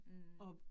Mh